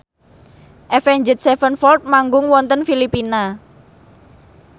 Avenged Sevenfold manggung wonten Filipina